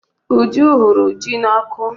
Uju hụrụ ji n'ọkụ.